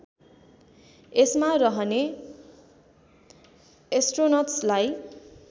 यसमा रहने एस्ट्रोनट्सलाई